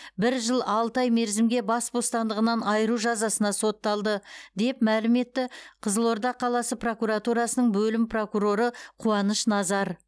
бір жыл алты ай мерзімге бас бостандығынан айыру жазасына сотталды деп мәлім етті қызылорда қаласы прокуратурасының бөлім прокуроры қуаныш назар